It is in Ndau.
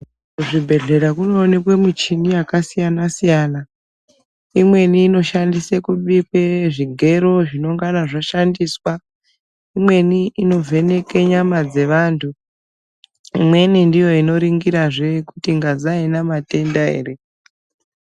Kuzvibhendlera kunoonekwa muchini yakasiyana siyana. Imweni inoshandiswe kubike zvigero zvinongana zvashandiswa. Imweni inovheneka nyama dzevantu. Imweni ndiyo inoringirazve kuti ngazi aina matenda ere.